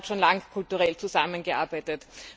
Der Donauraum hat schon lange kulturell zusammengearbeitet.